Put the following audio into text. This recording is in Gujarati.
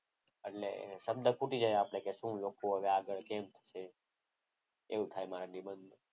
એટલે શબ્દ ખૂટી જાય આપણે કે શું લખવું આગળ કેવું લખવું. એવું થાય મારે નિબંધ.